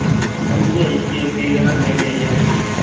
അഞ്ച് IPL കിരീടങ്ങൾ നേടിയ ഏക Team